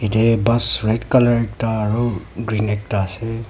ite bus red colour ekta aru green ekta ase.